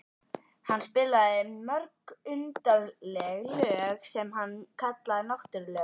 Hann spilaði mörg undarleg lög sem hann kallaði náttúrulög.